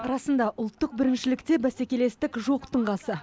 расында ұлттық біріншілікте бәселестік жоқтың қасы